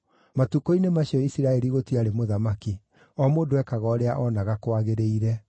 Matukũ-inĩ macio Isiraeli gũtiarĩ mũthamaki; o mũndũ ekaga ũrĩa oonaga kwagĩrĩire.